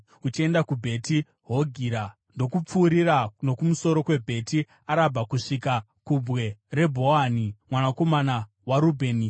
uchienda kuBheti Hogira, ndokupfuurira nokumusoro kweBheti Arabha kusvika kubwe raBhohani mwanakomana waRubheni.